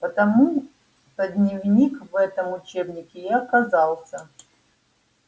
потому-то дневник в этом учебнике и оказался